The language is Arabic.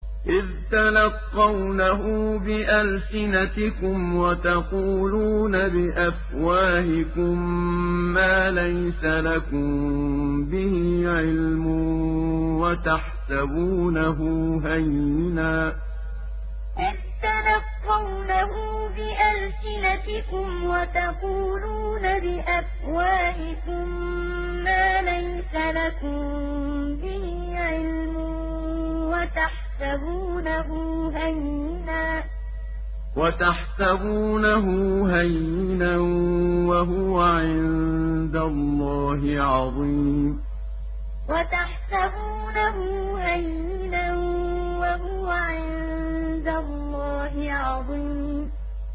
إِذْ تَلَقَّوْنَهُ بِأَلْسِنَتِكُمْ وَتَقُولُونَ بِأَفْوَاهِكُم مَّا لَيْسَ لَكُم بِهِ عِلْمٌ وَتَحْسَبُونَهُ هَيِّنًا وَهُوَ عِندَ اللَّهِ عَظِيمٌ إِذْ تَلَقَّوْنَهُ بِأَلْسِنَتِكُمْ وَتَقُولُونَ بِأَفْوَاهِكُم مَّا لَيْسَ لَكُم بِهِ عِلْمٌ وَتَحْسَبُونَهُ هَيِّنًا وَهُوَ عِندَ اللَّهِ عَظِيمٌ